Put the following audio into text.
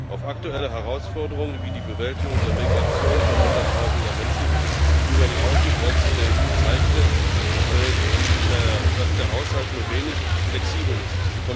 Auch aktuelle Herausforderungen wie die Bewältigung der Migration von Hunderttausenden Menschen über die Außengrenzen der EU zeigten, dass der Haushalt nur wenig flexibel ist.